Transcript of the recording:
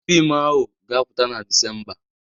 Fiim ahụ ga-apụta na Disemba.